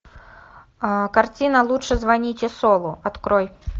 картина лучше звоните солу открой